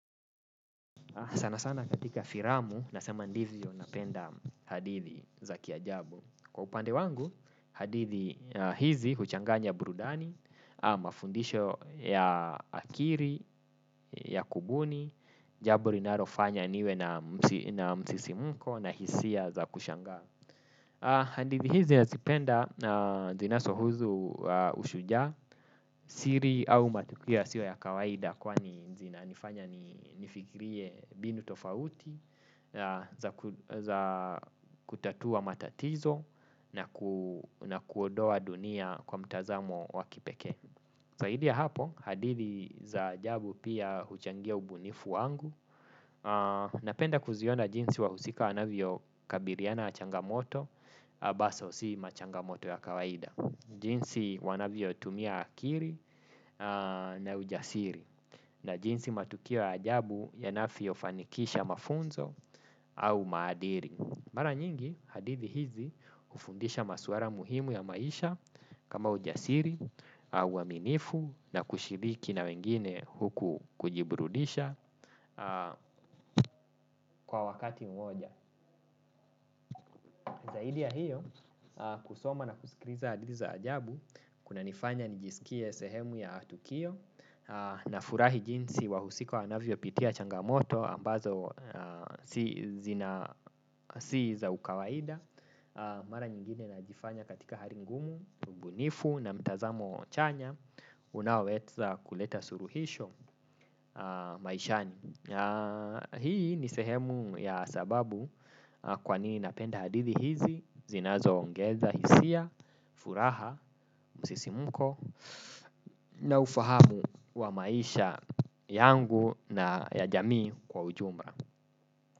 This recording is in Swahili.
Sana sana katika filamu nasema ndivyo napenda hadithi za kiajabu. Kwa upande wangu, hadithi hizi huchanganya burudani, mafundisho ya akili, ya kubuni, jambo linalofanya niwe na msisimko na hisia za kushangaa. Hadithi hizi nazipenda zinazohusu ushujaa siri au matukio yasio ya kawaida kwani zinanifanya nifikirie mbinu tofauti za za kutatua matatizo na kuondoa dunia kwa mtazamo wa kipeke. Zaidi ya hapo, hadithi za ajabu pia huchangia ubunifu wangu, napenda kuziona jinsi wahusika wanavyo kabiliana na changamoto, basa usi machangamoto ya kawaida. Jinsi wanavyo tumia akili na ujasiri, na jinsi matukio ajabu yanavyo fanikisha mafunzo au maadili. Mara nyingi hadithi hizi hufundisha masuala muhimu ya maisha kama ujasiri, uaminifu na kushiriki na wengine huku kujiburudisha kwa wakati moja. Zaidi ya hiyo, kusoma na kusikiliza hadithi za ajabu, kuna nifanya nijisikie sehemu ya tukio nafurahi jinsi wahusika wanavyo pitia changamoto ambazo si za ukawaida. Mara nyingine najifanya katika hali ngumu, ubunifu na mtazamo chanya, unaoweza kuleta suluhisho maishani. Hii ni sehemu ya sababu kwa nini napenda hadithi hizi, zinazo ongeza hisia, furaha, msisimuko na ufahamu wa maisha yangu na ya jamii kwa ujumla.